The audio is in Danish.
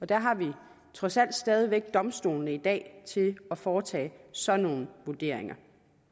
der har vi trods alt stadig væk domstolene i dag til at foretage sådan nogle vurderinger